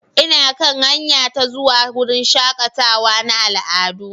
Ina kan hanya ta zuwa wurin shakatawa na al'adu.